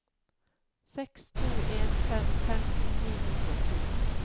seks to en fem femten ni hundre og to